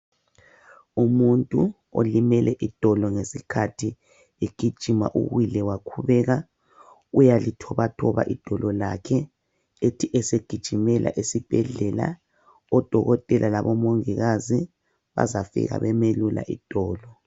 Umuntu olimele idolo ngesikhathi egijima uwile wakhubeka, uyalithobathoba idolo lakhe ethi esegijimela esibhedlela odokotela labomongikazi bazafika bemelula idolo.